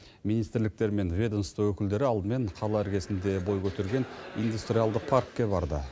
министрліктер мен ведомство өкілдері алдымен қала іргесінде бой көтерген индустриалды паркке барды